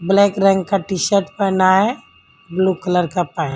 black रंग का T-shirt पहना है ब्लू कलर का पहन--